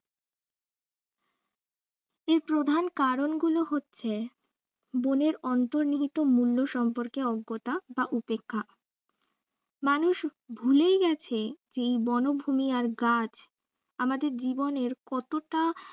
এর প্রধান কারনগুলো হচ্ছে বনের অন্তর্নিহিত মূল্য সম্পর্কে অজ্ঞতা বা উপেক্ষা মানুষ ভুলেই গেছে এই বনভুমি আর গাছ আমাদের জীবনের কতটা